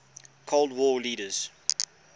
cold war leaders